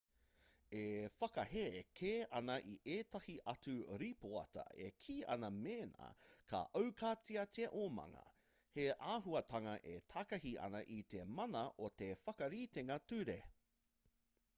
e whakahē kē ana i ētahi atu rīpoata e kī ana mēnā ka aukatia te omanga he āhuatanga e takahi ana i te mana o te whakaritenga ture